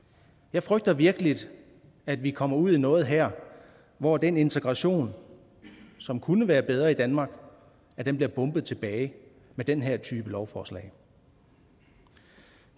jeg frygter virkelig at vi kommer ud i noget her hvor den integration som kunne være bedre i danmark bliver bombet tilbage med den her type lovforslag